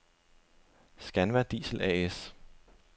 Scanva Diesel A/S